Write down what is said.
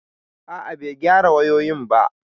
A'a, bai gyara wayoyin ba